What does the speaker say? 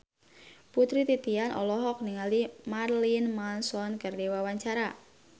Putri Titian olohok ningali Marilyn Manson keur diwawancara